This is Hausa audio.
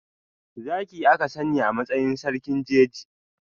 Zaki aka sani a matsayin sarkin jeji.